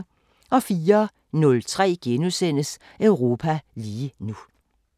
04:03: Europa lige nu *